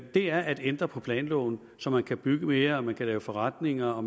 er at ændre planloven så man kan bygge mere lave forretninger og